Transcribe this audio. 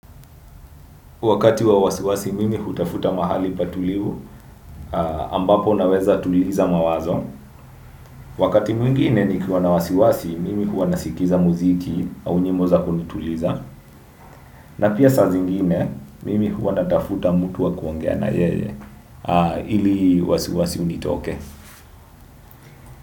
Wakati wa wasiwasi, mimi hutafuta mahali patulivu, ambapo naweza tuliza mawazo. Wakati mwingine ni kiwa na wasiwasi, mimi huwanasikiza muziki au nyimbo za kunituliza. Na pia sa zingine, mimi huwa natafuta mutu wa kuongea na yeye, ili wasiwasi unitoke.